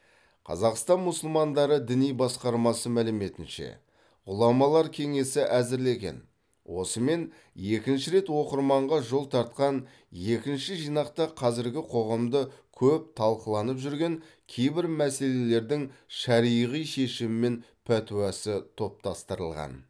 қазақстан мұсылмандары діни басқармасы мәліметінше ғұламалар кеңесі әзірлеген осымен екінші рет оқырманға жол тартқан екінші жинақта қазіргі қоғамда көп талқыланып жүрген кейбір мәселелердің шариғи шешімі мен пәтуасы топтастырылған